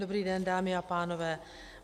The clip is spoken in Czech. Dobrý den dámy a pánové.